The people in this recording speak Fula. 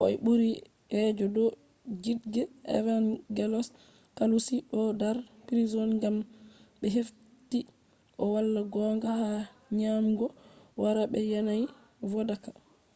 koh buri je do judge evangelos kalousis do dar prison gam be hefti o wala gonga hado nyamugo haram be yanayi vodaka